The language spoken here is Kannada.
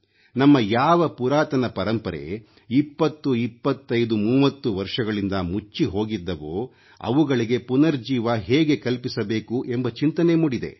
ನಮ್ಮ ಯಾವ ಪುರಾತನ ಪರಂಪರೆ 202530 ವರ್ಷಗಳಿಂದ ಮುಚ್ಚಿಹೋಗಿದ್ದವೋ ಅವುಗಳಿಗೆ ಪುನರುಜ್ಜೀವನ ಹೇಗೆ ಕಲ್ಪಿಸಬೇಕು ಎಂಬ ಚಿಂತನೆ ಮೂಡಿದೆ